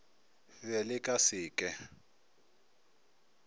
be le ka se ke